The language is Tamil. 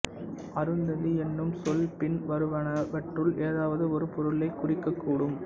அருந்ததி என்னும் சொல் பின்வருவனவற்றுள் ஏதாவது ஒரு பொருளைக் குறிக்கக்கூடும்